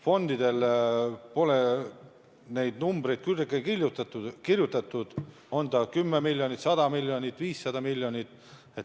Fondidele pole numbreid külge kirjutatud, on see 10 miljonit, 100 miljonit, 500 miljonit.